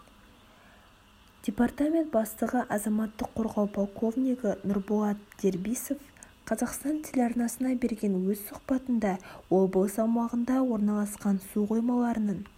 департамент бастығы азаматтық қорғау полковнигі нұрболат дербисов қазақстан телеарнасына берген өз сұхбатында облыс аумағында орналасқан суқоймаларының